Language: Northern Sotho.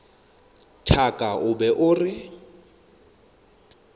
thaka o be o reng